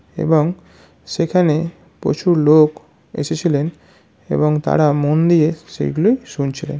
এবং সেখানে প্রচুর লোক এসেছিলেন এবং তারা মন দিয়ে সেগুলি শুনছিলেন।